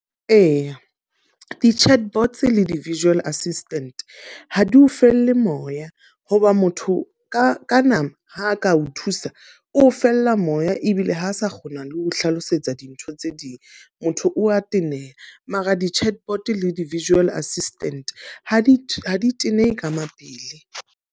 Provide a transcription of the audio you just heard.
Eya, di-chartbots le di-virtual assistant, ha di o felle moya. Ho ba motho ka ka nama ha ka o thusa. O o fella moya ebile ha sa kgona le ho hlalosetsa dintho tse ding. Motho o a teneha. Mara di-chartbot le di-virtual assistant, ha di ha di teneha ka mapele.